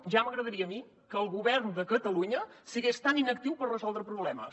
ja m’agradaria a mi que el govern de catalunya fos tan inactiu per resoldre problemes